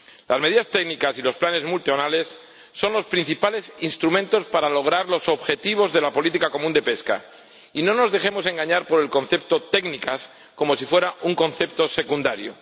Las medidas técnicas y los planes plurianuales son los principales instrumentos para lograr los objetivos de la política pesquera común, y no nos dejemos engañar por el concepto técnicas como si fuera un concepto secundario.